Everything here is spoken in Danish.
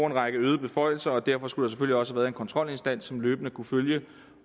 en række øgede beføjelser derfor skulle også være en kontrolinstans som løbende kunne følge